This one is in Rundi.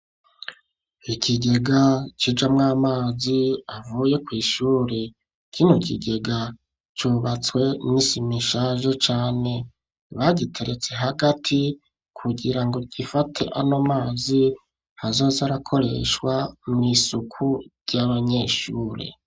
Ikigega kijamwo amazi avuye kw'ishure. Kino kigega cubatswe n'isima ishaje cane. Bagiteretse hagati kugira ngo gifate ano mazi, azoze arakoreshwa mw'isuku ry'abanyeshure.